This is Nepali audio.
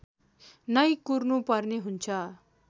नै कुर्नुपर्ने हुन्छ